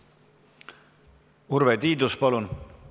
Urve Tiidus, palun!